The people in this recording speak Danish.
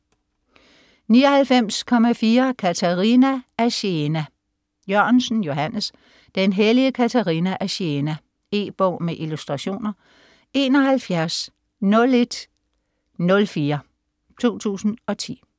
99.4 Katerina af Siena Jørgensen, Johannes: Den hellige Katerina af Siena E-bog med illustrationer 710104 2010.